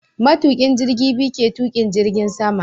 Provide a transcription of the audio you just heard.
Matukin jirgi biyu ke tukin jirgin sama